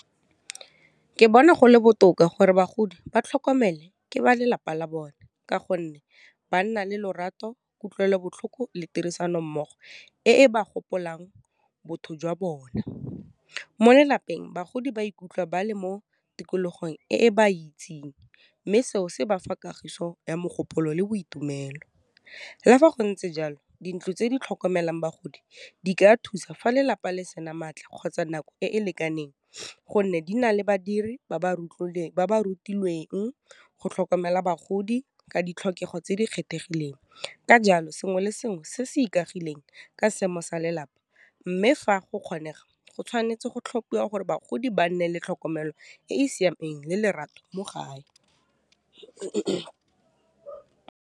Ke bona gole botoka gore bagodi ba tlhokomele ke ba lelapa la bone ka gonne, ba nna le lorato, kutlwelobotlhoko, le tirisano mmogo e ba gopolang botho jwa bona. Mo lelapeng, bagodi ba ikutlwa ba le mo tikologong e e ba itseng, mme seo se bafa kagiso ya mogopolo le boitumelo. Le fa go ntse jalo, dintlo tse di tlhokomelang bagodi di ka thusa fa lelapa le sena maatla kgotsa nako e e lekaneng, gonne di na le badiri ba ba rutilweng go tlhokomela bagodi ka ditlhokego tse di kgethegileng, ka jalo, sengwe le sengwe se se ikagileng ka seemo sa lelapa, mme fa go kgone go tshwanetse go tlhophiwa gore bagodi ba nne le tlhokomelo e e siameng le lerato mo gae.